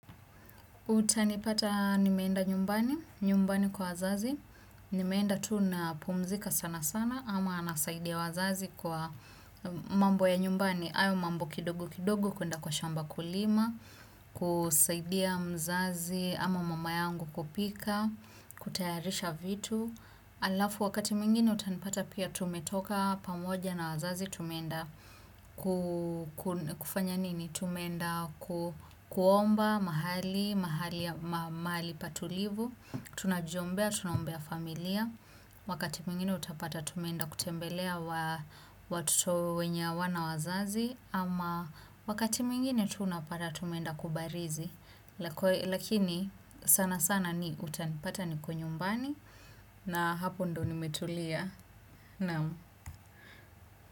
Utanipata nimeenda nyumbani, nyumbani kwa wazazi, nimeenda tu na pumzika sana sana ama nasaidia wazazi kwa mambo ya nyumbani, hayo mambo kidogo kidogo kwenda kwa shamba kulima, kusaidia mzazi ama mama yangu kupika, kutayarisha vitu. Alafu wakati mwingine utanipata pia tumetoka pamoja na wazazi tumeenda kufanya nini, tumeenda kuomba mahali, mahali patulivu, tunajiombea, tunaombea familia, wakati mwingine utapata tumeenda kutembelea watoto wenye hawana wazazi, ama wakati mwingine tu unapata tumeenda kubarizi. Lakini sana sana ni utanipata niko nyumbani. Na hapo ndo nimetulia naam.